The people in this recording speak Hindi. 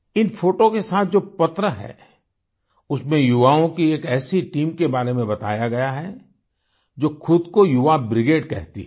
इन फोटों के साथ जो पत्र है उसमें युवाओं की एक ऐसी टीम के बारे में बताया गया है जो खुद को युवा ब्रिगेड कहती है